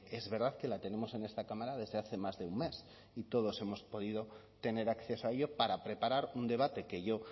es verdad que la tenemos en esta cámara desde hace más de un mes y todos hemos podido tener acceso a ello para preparar un debate que yo